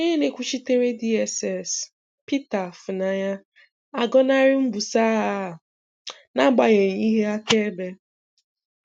Onye na-ekwuchitere DSS, Peter Afunanya, agọnarị mbuso agha a n'agbanyeghị ihe akaebe.